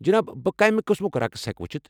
جناب، بہٕ کمہِ قسمُك رقس ہیكہٕ وُچھِتھ ؟